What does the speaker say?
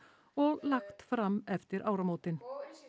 og lagt fram eftir áramótin